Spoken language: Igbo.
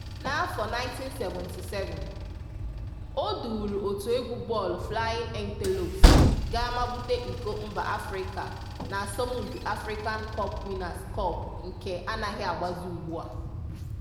N'afọ 1977, o duuru otu egwu bọọlụ Flying Antelopes gaa mabute iko mba Afrịka n'asọmpi African Cup Winners Cup nke anaghị agbazi ugbu a.